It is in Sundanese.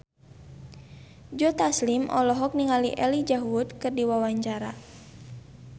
Joe Taslim olohok ningali Elijah Wood keur diwawancara